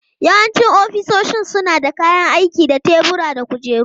Yawancin ofisoshin suna da kayan aiki da tebura da kujeru.